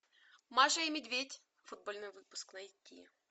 маша и медведь футбольный выпуск найти